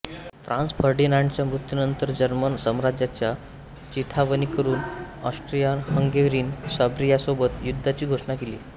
Franz फर्डिनांडच्या मृत्यूनंतर German साम्राज्याच्या चिथावणीवरून ऑस्ट्रियाहंगेरीने सर्बियासोबत युद्धाची घोषणा केली